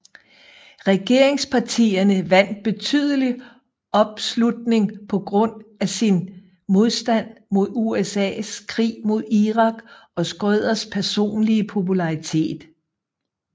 Regeringspartierne vandt betydelig opslutning på grund af sin modstand mod USAs krig mod Irak og Schröders personlige popularitet